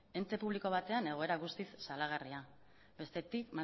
ente publiko batean egoera guztiz salagarria bestetik